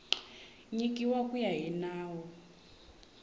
nyikiwa ku ya hi nawu